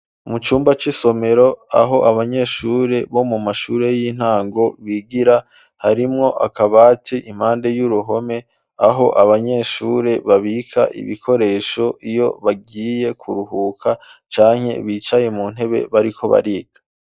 Mu cumba c'isomero, aho abanyeshure, bo mu mashure y'intango, bigira; harimwo akabati, impande y'uruhome; aho abanyeshure, babika ibikoresho, iyo bagiye kuruhuka, canke bicaye mu ntebe, bariko bariga.